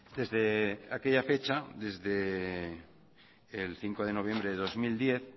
desde aquella fecha desde el cinco de noviembre de dos mil diez